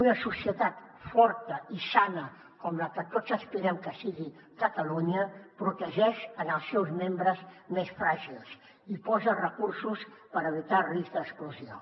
una societat forta i sana com la que tots aspirem que sigui catalunya protegeix els seus membres més fràgils i posa recursos per evitar risc d’exclusió